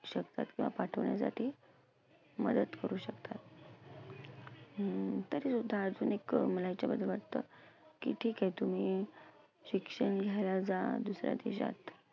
शकतात किंवा पाठवण्यासाठी मदत करू शकतात. अं तरीसुद्धा अजून एक मला हेच्याबद्दल वाटतं की ठिके तुम्ही शिक्षण घ्यायला जा दुसऱ्या देशात